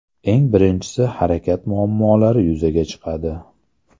Eng birinchisi harakat muammolari yuzaga chiqadi.